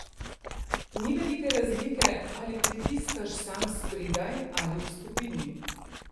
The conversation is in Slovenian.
Ni velike razlike, ali pritiskaš sam spredaj ali v skupini.